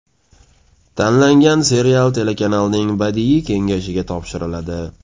Tanlangan serial telekanalning Badiiy kengashiga topshiriladi.